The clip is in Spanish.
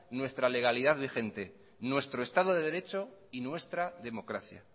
nuestra legalidad vigente nuestro estado de derecho y nuestra democracia